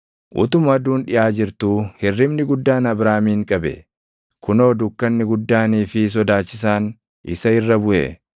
Utuma aduun dhiʼaa jirtuu hirribni guddaan Abraamin qabe; kunoo dukkanni guddaanii fi sodaachisaan isa irra buʼe.